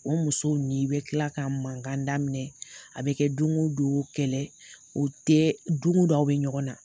O musow ni i bɛ kila ka mankan daminɛ a bi kɛ don o don kɛlɛ o tɛ, don ko don a bi ɲɔgɔn na.